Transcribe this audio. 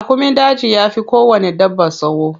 Raƙumin daji yafi kowanne dabba tsawo.